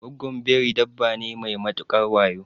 Gwaggon Biri dabba ne mai matukar wayo